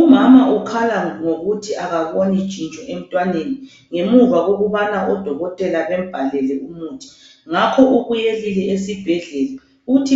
umama ukhala ngokuthi akaboni tshintsho emntwaneni ngemuva kokubana odokotela bambalele umuthi ngakho ubuyelile esibhedlela uthi